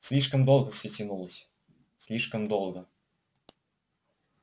слишком долго всё тянулось слишком долго